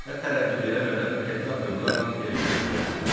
Və tərəddüd eləmədən qəti addımlarla Elizaya tərəf yönəldim.